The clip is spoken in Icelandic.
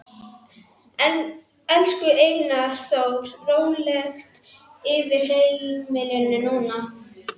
Elsku Einar Þór, Rólegt yfir heimilinu núna.